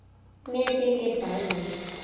Mér þykir það leitt.